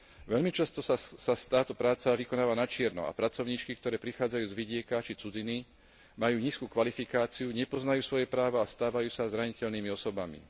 Veľmi často sa táto práca vykonáva načierno a pracovníčky, ktoré prichádzajú z vidieka či cudziny, majú nízku kvalifikáciu, nepoznajú svoje práva a stávajú sa zraniteľnými osobami.